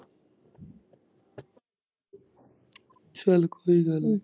ਚੱਲ ਕੋਈ ਗੱਲ ਨੀ।